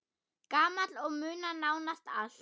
Gamall og muna nánast allt.